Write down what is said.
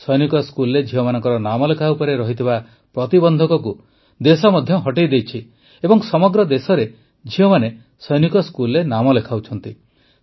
ସୈନିକ ସ୍କୁଲରେ ଝିଅମାନଙ୍କର ନାମଲେଖା ଉପରେ ଥିବା ପ୍ରତିବନ୍ଧକକୁ ମଧ୍ୟ ଦେଶ ହଟାଇ ଦେଇଛି ଏବଂ ସମଗ୍ର ଦେଶରେ ଝିଅମାନେ ସୈନିକ ସ୍କୁଲରେ ନାମ ଲେଖାଉଛନ୍ତି